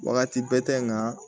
Wagati bɛ tɛ n kan